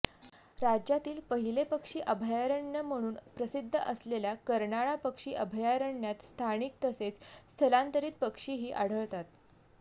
राज्यातील पहिले पक्षी अभयारण्य म्हणून प्रसिद्ध असलेल्या कर्नाळा पक्षी अभयारण्यात स्थानिक तसेच स्थलांतरित पक्षीही आढळतात